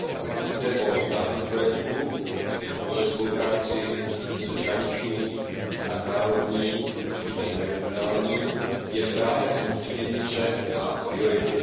Pokud jde o náplň projektů, a to ve spolupráci přeshraniční, nadnárodní i meziregionální, je správné soustředění se na priority.